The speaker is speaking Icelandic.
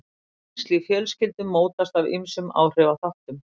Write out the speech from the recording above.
Tengsl í fjölskyldum mótast af ýmsum áhrifaþáttum.